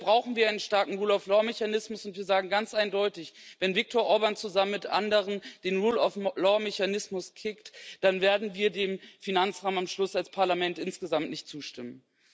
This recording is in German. Deshalb brauchen wir einen starken Rule of law Mechanismus, und wir sagen ganz deutlich Wenn Viktor Orbán zusammen mit anderen den Rule of law Mechanismus kickt, dann werden wir dem Finanzrahmen zum Schluss als Parlament insgesamt nicht zustimmen.